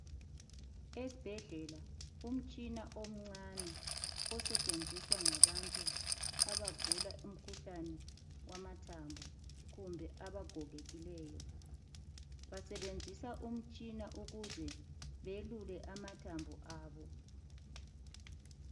Esibhedlela umtshina omncane osetshenziswa ngabantu abagula umkhuhlane wamathambo kumbe abagogekileyo. Basebenzisa umtshina ukuze belule amathambo abo.